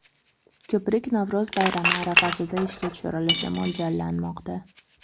Ko‘prik Navro‘z bayrami arafasida ishga tushirilishi mo‘ljallanmoqda.